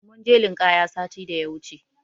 Mun je linƙaya sati da ya wuce.